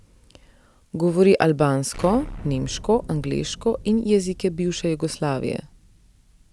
Govori, albansko, nemško, angleško in jezike bivše Jugoslavije.